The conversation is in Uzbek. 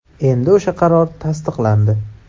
Endi o‘sha qaror tasdiqlandi.